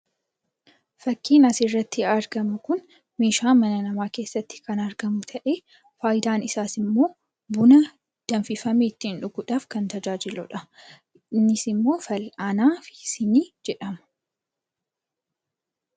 Fakkiin asirratti argamu kun meeshaa mana namaa keesatti kan argamu ta'ee, faayidaan isaas immoo buna danfifame ittiin dhuguudhaaf kan tajajaajiludha. Innis immoo fal'aanaa fi sinii jedhama.